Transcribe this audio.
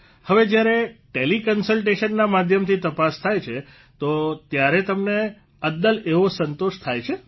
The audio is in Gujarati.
હવે જ્યાર ટેલીકન્સલટેશનના માધ્યમથી તપાસ થાય છે તો ત્યારે તમને અદ્દલ એવો સંતોષ થાય છે